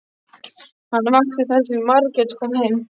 Hann vakti þar til Margrét kom heim.